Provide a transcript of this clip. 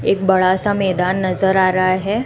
एक बड़ा सा मैदान नजर आ रहा है।